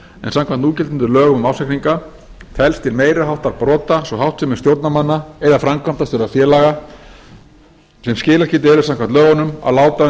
núgildandi lögum um ársreikninga telst til meiri háttar brota sú háttsemi stjórnarmanna eða framkvæmdastjóra félaga sem skilaskyld eru samkvæmt lögunum að láta